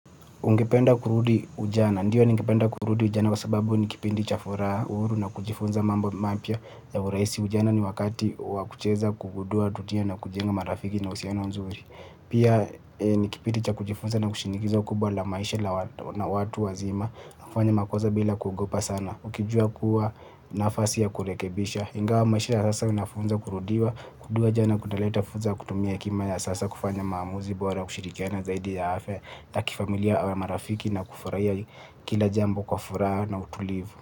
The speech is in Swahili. Ungependa kurudi ujana, ndiyo ningependa kurudi ujana kwa sababu ni kipindi cha furaha, uhuru na kujifunza mambo mapya ya urahisi ujana ni wakati wankucheza kugundua tutia na kujenga marafiki na uhusiano nzuri. Pia ni kipindi cha kujifunza na shinikizo kubwa la maisha la watu wazima na kufanya makosa bila kuogopa sana. Ukijua kuwa nafasi ya kurekebisha ingawa maisha ya sasa inafunza kurudiwa. Kurudiwa jana kunaleta fursa kutumia hekima ya sasa kufanya maamuzi. Bora kushirikiana zaidi ya afya ya kifamilia au ya marafiki na kufurahia kila jambo kwa furaha na utulivu.